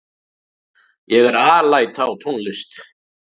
Ég er alæta á tónlist.